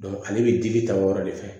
ale bɛ digi ta o yɔrɔ de fɛ